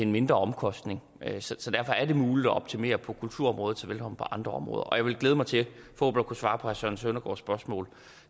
mindre omkostning derfor er det muligt at optimere såvel på kulturområdet som på andre områder og jeg vil glæde mig til at kunne svare på herre søren søndergaards spørgsmål